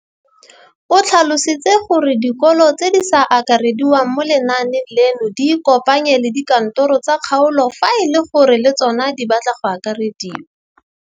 O tlhalositse gore dikolo tse di sa akarediwang mo lenaaneng leno di ikopanye le dikantoro tsa kgaolo fa e le gore le tsona di batla go akarediwa.